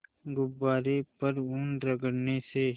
गुब्बारे पर ऊन रगड़ने से